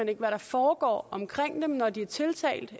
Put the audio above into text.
ikke hvad der foregår omkring dem når de er tiltalt